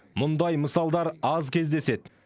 мұндай мысалдар аз кездеседі